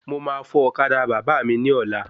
Mo ma fọ̀ ọ̀kadà bàbá mi ní ọ̀la